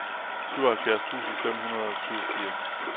syvoghalvfjerds tusind fem hundrede og syvogfirs